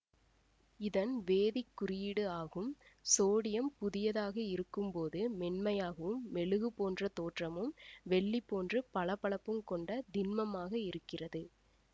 இதன் வேதிக் குறியீடு ஆகும் சோடியம் புதியதாக இருக்கும் போது மென்மையாகவும் மெழுகு போன்ற தோற்றமும் வெள்ளி போன்று பளபளப்பும் கொண்ட திண்மமாக இருக்கிறது